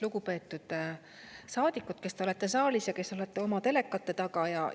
Lugupeetud saadikud, kes te olete saalis ja kes olete oma telekate taga!